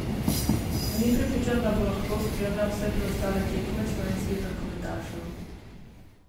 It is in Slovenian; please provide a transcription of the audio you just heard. Ni prepričan, da bo lahko spremljal vse preostale tekme slovenskih rokometašev.